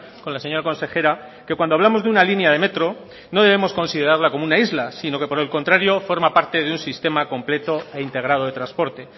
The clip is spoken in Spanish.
con la señora consejera que cuando hablamos de una línea de metro no debemos considerarla como una isla sino que por el contrario forma parte de un sistema completo e integrado de transporte